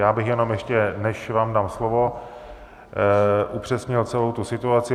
Já bych jenom, ještě než vám dám slovo, upřesnil celou tu situaci.